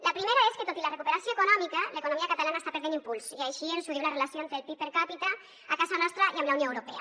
la primera és que tot i la recuperació econòmica l’economia catalana està perdent impuls i així ens ho diu la relació entre el pib per capita a casa nostra i amb la unió europea